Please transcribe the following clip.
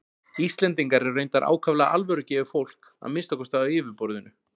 Íslendingar eru reyndar ákaflega alvörugefið fólk, að minnsta kosti á yfirborðinu.